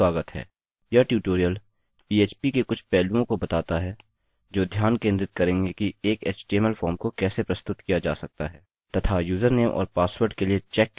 यह tutorial php के कुछ पहलुओं को बताता है जो ध्यान केंद्रित करेंगे कि एक html फॉर्म को कैसे प्रस्तुत किया जा सकता है तथा यूजरनेम और पासवर्ड के लिए चेक कैसे कर सकते हैं